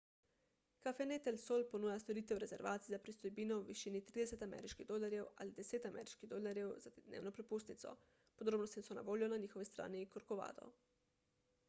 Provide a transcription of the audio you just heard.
cafenet el sol ponuja storitev rezervacij za pristojbino v višini 30 ameriških dolarjev ali 10 ameriških dolarjev za dnevno prepustnico podrobnosti so na voljo na njihovi strani corcovado